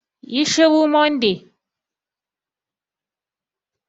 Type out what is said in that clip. Ƴi shuru Monday!